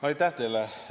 Aitäh teile!